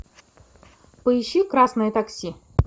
поищи красное такси